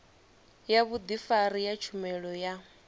ya vhudifari ya tshumelo ya